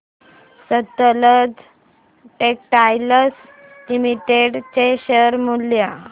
Sutlej Textiles Limited चे share मूल्य